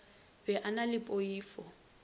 be a na le poifo